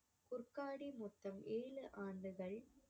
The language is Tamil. குர்காடி மொத்தம் ஏழு ஆண்டுகள்